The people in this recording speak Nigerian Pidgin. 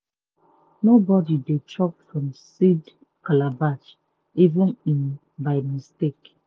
nobody dey chop from seed calabash even um by mistake.